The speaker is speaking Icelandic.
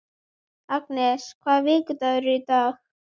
Agnes, hvaða vikudagur er í dag?